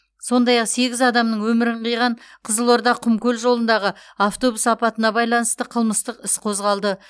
сондай ақ сегіз адамның өмірін қиған қызылорда құмкөл жолындағы автобус апатына байланысты қылмыстық іс қозғалды